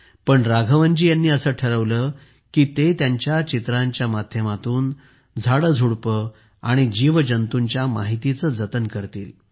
पण राघवनजी यांनी ठरवले की ते त्यांच्या चित्रांच्या माध्यमातून झाडेझुडुपे आणि जीवजंतूंच्या माहितीचे जतन करतील